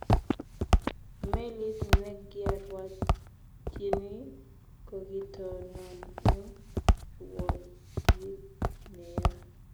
Melit negyarwatyini kokitonon eng rwotyit neya